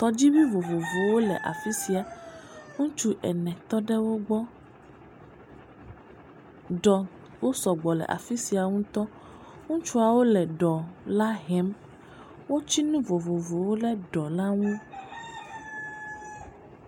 Tɔdziŋu vovovowo le afi sia. Ŋutsu ene tɔ ɖe wo gbɔ. Ɖɔwo sɔgbɔ le afi sia ŋutɔ. Ŋutsuwo le ɖɔ la hem. Wotsi nu vovovowo ɖe ɖɔ la nu.